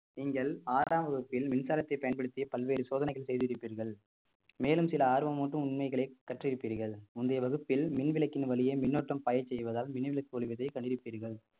நீங்கள் ஆறாம் வகுப்பில் மின்சாரத்தை பயன்படுத்திய பல்வேறு சோதனைகள் செய்திருப்பீர்கள் மேலும் சில ஆர்வம் ஊட்டும் உண்மைகளை கற்றிருப்பீர்கள் முந்தைய வகுப்பில் மின் விளக்கின் வழியே மின் ஓட்டம் பாய செய்வதால் மின்விளக்கு ஒளிவதை கண்டிருப்பீர்கள்